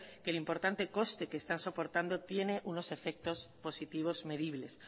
que el importante conste que están soportando tiene unos efectos positivos medibles